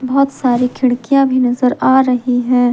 बहुत सारी खिड़कियां भी नजर आ रही है ।